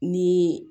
Ni